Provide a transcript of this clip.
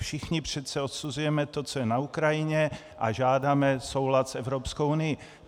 Všichni přece odsuzujeme to, co je na Ukrajině, a žádáme soulad s Evropskou unii.